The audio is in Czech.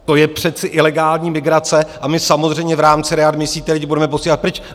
To je přece ilegální migrace a my samozřejmě v rámci readmisí ty lidi budeme posílat pryč.